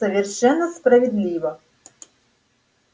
совершенно справедливо